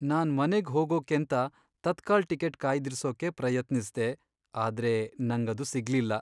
ನಾನ್ ಮನೆಗ್ ಹೋಗೋಕೇಂತ ತತ್ಕಾಲ್ ಟಿಕೆಟ್ ಕಾಯ್ದಿರ್ಸೋಕೆ ಪ್ರಯತ್ನಿಸ್ದೆ, ಆದ್ರೆ ನಂಗದು ಸಿಗ್ಲಿಲ್ಲ.